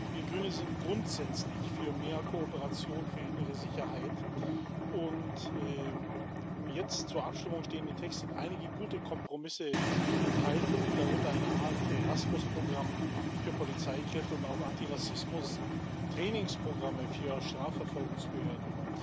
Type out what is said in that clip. Wir Grüne sind grundsätzlich für mehr Kooperation bei der innere, Sicherheit, und im jetzt zur Abstimmung stehenden Text sind einige gute Kompromisse enthalten, darunter eine Art Erasmus Programm für Polizeikräfte und auch Antirassismus Trainingsprogramme für Strafverfolgungsbehörden.